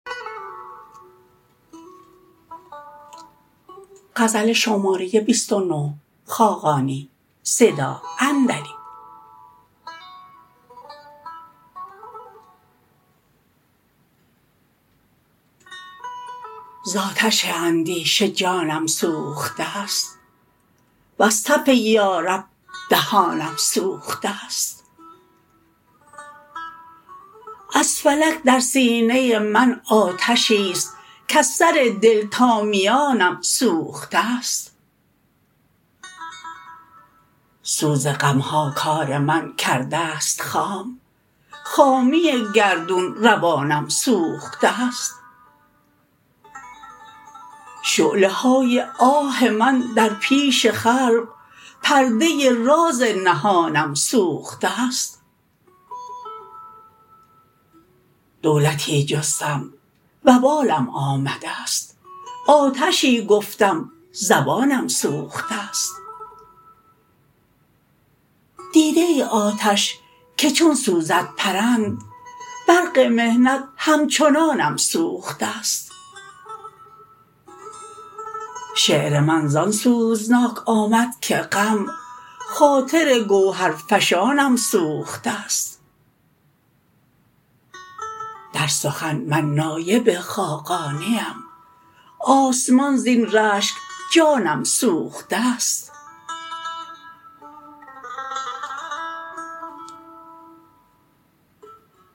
زآتش اندیشه جانم سوخته است وز تف یا رب دهانم سوخته است از فلک در سینه من آتشی است کز سر دل تا میانم سوخته است سوز غم ها کار من کرده است خام خامی گردون روانم سوخته است شعله های آه من در پیش خلق پرده راز نهانم سوخته است دولتی جستم وبالم آمده است آتشی گفتم زبانم سوخته است دیده ای آتش که چون سوزد پرند برق محنت همچنانم سوخته است شعر من زان سوزناک آمد که غم خاطر گوهرفشانم سوخته است در سخن من نایب خاقانیم آسمان زین رشک جانم سوخته است